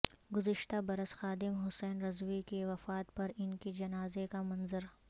گذشتہ برس خادم حسین رضوی کی وفات پر ان کے جنازے کا منظر